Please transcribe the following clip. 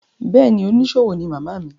Bẹ́ẹ̀ ni, oníṣòwò ní màmá mi.